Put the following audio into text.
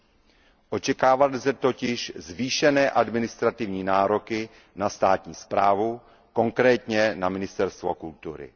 Lze totiž očekávat zvýšené administrativní nároky na státní správu, konkrétně na ministerstvo kultury.